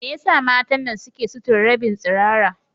Me yasa matan nan suke sutura rabin tsirara?